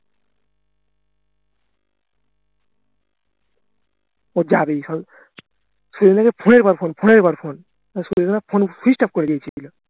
তো যাবেই phone এর উপর phone phone এর উপর phone phone switched off করে দিয়েছিলো